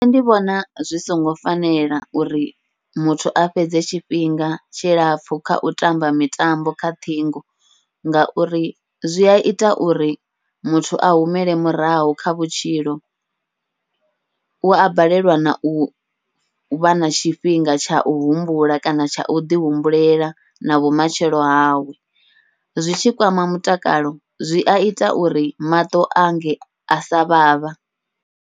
Nṋe ndi vhona zwi songo fanela uri muthu a fhedze tshifhinga tshilapfhu kha u tamba mitambo kha ṱhingo, ngauri zwia ita uri muthu a humele murahu kha vhutshilo. Ua balelwa nau vha na tshifhinga tshau humbula kana tsha uḓi humbulela na vhumatshelo hawe, zwi tshi kwama mutakalo zwia ita uri maṱo ange asa vhavha.